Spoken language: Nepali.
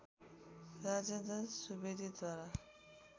राजेन्द्र सुवेदीद्वारा